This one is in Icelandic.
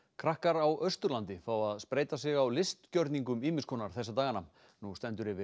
krakkar á Austurlandi fá að spreyta sig á ýmis konar þessa dagana nú stendur yfir